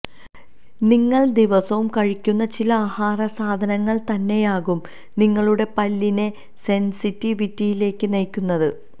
നിങ്ങള് ദിവസവും കഴിക്കുന്ന ചില ആഹാരസാധനങ്ങള് തന്നെയാകും നിങ്ങളുടെ പല്ലിനെ സെന്സിറ്റിവിറ്റിയിലേക്ക് നയിക്കുന്നത്